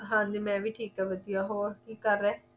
ਹਾਂ ਜੀ ਮੈਂ ਵੀ ਠੀਕ ਹਾਂ ਵਧਿਆ ਹੋਰ ਕੀ ਕਰ ਰਹੇ